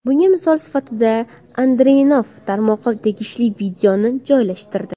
Bunga misol sifatida Andriyanov tarmoqqa tegishli videoni joylashtirdi.